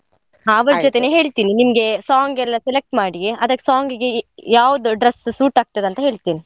ಜೊತೇನೆ ಹೇಳ್ತಿನಿ ನಿಮ್ಗೆ song ಎಲ್ಲ select ಮಾಡಿ song ಗೆ ಯಾವ್ದು dress suit ಆಗ್ತದೆ ಅಂತ ಹೇಳ್ತಿನಿ.